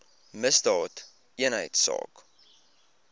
misdaadeenheidsaak